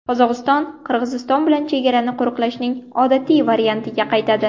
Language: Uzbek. Qozog‘iston Qirg‘iziston bilan chegarani qo‘riqlashning odatiy variantiga qaytadi.